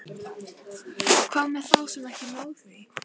Hvað með þá sem ekki ná því?